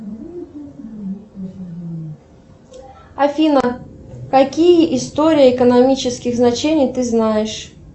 афина какие истории экономических значений ты знаешь